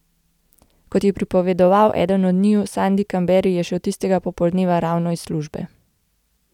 Kot je pripovedoval eden od njiju, Sandi Kamberi, je šel tistega popoldneva ravno iz službe.